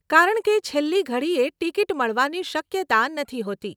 કારણકે છેલ્લી ઘડીએ ટીકીટ મળવાની શક્યતા નથી હોતી.